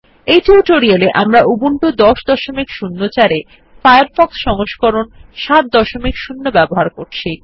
এই টিউটোরিয়াল আমরা উবুন্টু ১০০৪ ত়ে ফায়ারফক্স সংস্করণ ৭০ ব্যবহার করবো